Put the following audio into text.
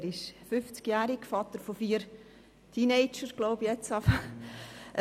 Er ist fünfzigjährig, Vater von vier Kindern, ich glaube inzwischen Teenagern.